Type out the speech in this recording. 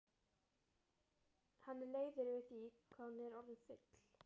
Hann er leiður yfir því hvað hún er orðin full.